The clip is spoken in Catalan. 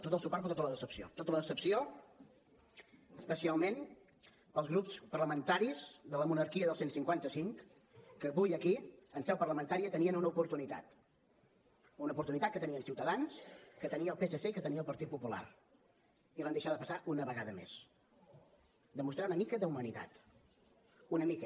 tot el suport però tota la decepció tota la decepció especialment pels grups parlamentaris de la monarquia i del cent i cinquanta cinc que avui aquí en seu parlamentària tenien una oportunitat una oportunitat que tenien ciutadans que tenia el psc i que tenia el partit popular i l’han deixada passar una vegada més de mostrar una mica d’humanitat una mica